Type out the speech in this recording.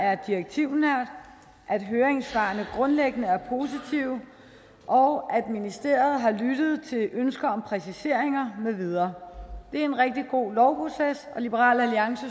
er direktivnær at høringssvarene grundlæggende er positive og at ministeriet har lyttet til ønsker om præciseringer med videre det er en rigtig god lovproces og liberal